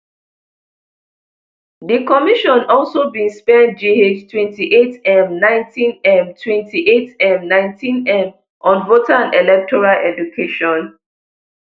di commission also bin spend gh twenty-eightm nineteenm twenty-eightm nineteenm on voter and electoral education